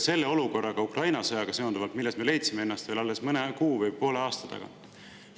Ka Ukraina sõjaga seonduv olukord, millest me leidsime ennast veel alles mõne kuu või poole aasta eest,.